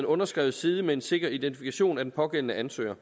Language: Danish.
underskrevet side med en sikker identifikation fra den pågældende ansøgers